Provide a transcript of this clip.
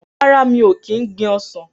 Rárá, mi ò kín gbin ọsàn.